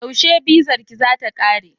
Yaushe bizarka za ta kare?